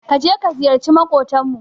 Ka je ka ziyarci maƙotanmu.